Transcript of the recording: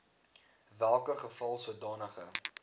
welke geval sodanige